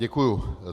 Děkuji.